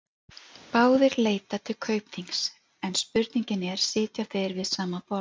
Báðir leita til Kaupþings en spurningin er, sitja þeir við sama borð?